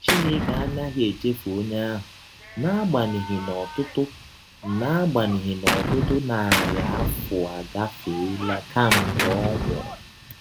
Chineke anaghị echefụ ọnye ahụ n’agbanyeghị na ọtụtụ n’agbanyeghị na ọtụtụ narị afọ agafeela kemgbe ọ nwụrụ.